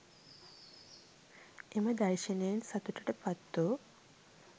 එම දර්ශනයෙන් සතුටට පත්වූ